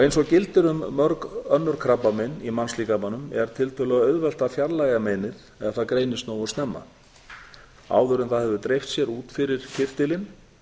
eins og gildir um mörg önnur krabbamein í mannslíkamanum er tiltölulega auðvelt að fjarlægja meinið ef það greinist nógu snemma og áður en það hefur dreift sér út fyrir kirtilinn